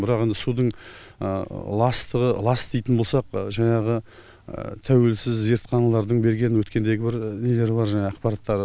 бірақ енді судың ластығы лас дейтін болсақ жаңағы тәуелсіз зертханалардың берген өткендегі бір нелері бар жаңағы ақпараттары